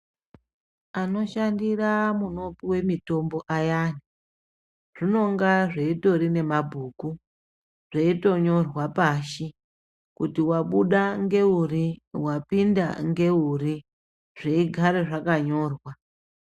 Anoshandira munopuwe mitombo ayani zvinonga zveitori nemabhuku zveitonyorwa pashi kuti wabuda ngeuri wapinda ngeuri zveigara zvakanyorwa.